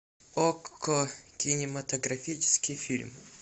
окко кинематографический фильм